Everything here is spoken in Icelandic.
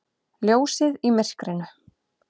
Ljósið í myrkrinu!